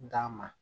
D'a ma